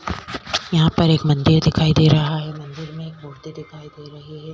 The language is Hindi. यहाँ पर एक मंदिर दिखाई दे रहा है मंदिर में एक मुरती दिखाई दे रही है।